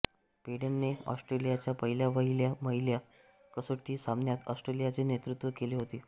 पेडेनने ऑस्ट्रेलियाच्या पहिल्या वहिल्या महिला कसोटी सामन्यात ऑस्ट्रेलियाचे नेतृत्व केले होते